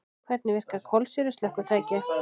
Hvernig virka kolsýru slökkvitæki?